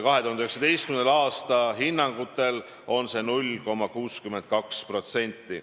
2019. aasta hinnangutel on see 0,62%.